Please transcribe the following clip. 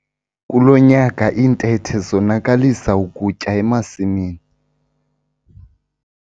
Kulo nyaka iintethe zonakalisa ukutya emasimini.